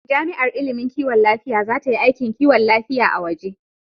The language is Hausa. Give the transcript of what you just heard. Jami'ar ilimin kiwon lafiya za ta yi aikin kiwon lafiya a waje.